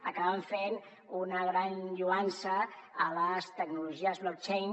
acaben fent una gran lloança de les tecnologies blockchain